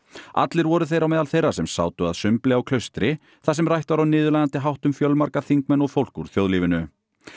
allir voru þeir á meðal þeirra sem sátu að sumbli á Klaustri þar sem rætt var á niðurlægjandi hátt um fjölmarga þingmenn og fólk úr þjóðlífinu